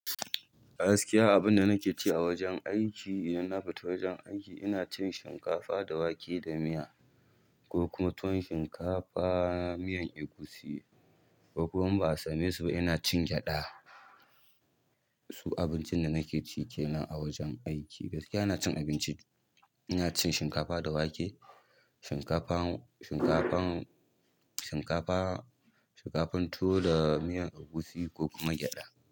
Gaskiya abun da nake ci a wajen aiki, idan na fita wajen aiki ina cin shinkafa da wake da miya ko kuma tuwon shinkafa, miyan egusi ko kuma inba a sa mesu ba ina cin gyaɗa. Su abincin da nake ci kenan a wajen aiki. Gaskiya ina cin abinci, ina cin shinkafa da wake, shinkafa, shinkafan, shinkafa, shinkafan tuwo da miyan egusi ko kuma gyaɗa.